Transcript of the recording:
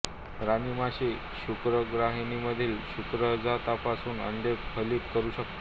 राणी माशी शुक्रगाहिकेमधील शुक्रजंतूपासून अंडे फलित करू शकते